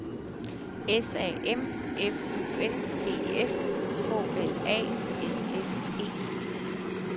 S A M F U N D S K L A S S E